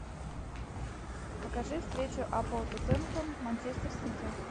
покажи встречу апл тоттенхэм манчестер сити